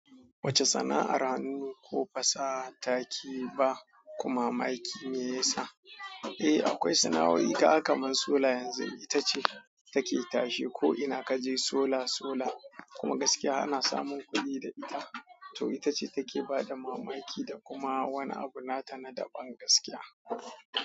Wace sana'ar hanu ne ko fasa taki ba, kuma ma'aikin me ya sa? Eh, akwai sana'o'i ka kamar sola yanzu, ita ce take tashe. Ko ina kaje sola, sola kuma gaskiya ana samun kuɗi da ita. To ita ce take ba da mamaki da kuma wani abu nata na daban gaskiya.